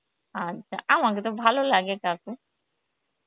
আচ্ছা আমাকে তো ভালো লাগে কাকু